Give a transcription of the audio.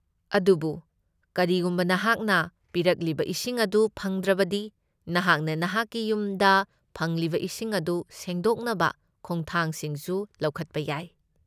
ꯑꯗꯨꯕꯨ ꯀꯔꯤꯒꯨꯝꯕ ꯅꯍꯥꯛꯅ ꯄꯤꯔꯛꯂꯤꯕ ꯏꯁꯤꯡ ꯑꯗꯨ ꯐꯪꯗ꯭ꯔꯕꯗꯤ, ꯅꯍꯥꯛꯅ ꯅꯍꯥꯛꯀꯤ ꯌꯨꯝꯗ ꯐꯪꯂꯤꯕ ꯏꯁꯤꯡ ꯑꯗꯨ ꯁꯦꯡꯗꯣꯛꯅꯕ ꯈꯣꯡꯊꯥꯡꯁꯤꯡꯁꯨ ꯂꯧꯈꯠꯄ ꯌꯥꯏ꯫